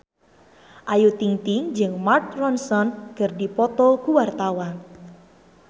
Ayu Ting-ting jeung Mark Ronson keur dipoto ku wartawan